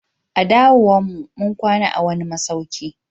A dawowan mu, mun kwana a'wani masauki.